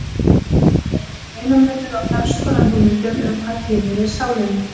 Þá verður gerður greinarmunur á ferns konar hugmyndum um hvað tilheyrir sálinni.